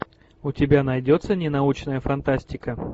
у тебя найдется ненаучная фантастика